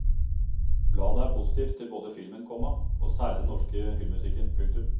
Bladet er positiv til både filmen, komma og særlig den norske filmmusikken. punktum